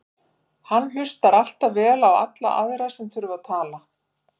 Hann hlustar alltaf vel á alla aðra sem þurfa að tala.